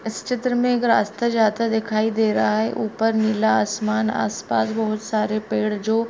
इस चित्र में एक रास्ता जाता दिखाई दे रहा है ऊपर नीला आसमान आस-पास बहोत सारे पेड़ जो --